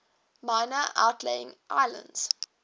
minor outlying islands